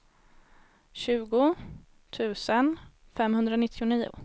tjugo tusen femhundranittionio